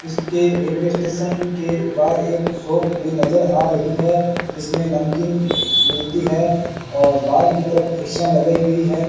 इसके railway station के बाहर एक शॉप भी नजर आ रही है जिसमें नमकीन मिलती है और बाहर की तरफ कुर्सियां लगाई गई है।